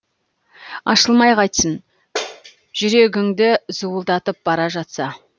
ашылмай қайтсін жүрегіңді зуылдатып бара жатса